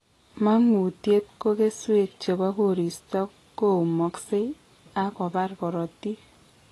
Mangutiet ko keswek chebo koristo koumaksei ak kobar korotik